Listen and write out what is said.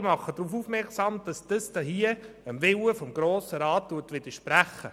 Ich mache darauf aufmerksam, dass dies dem Willen des Grossen Rates widerspricht.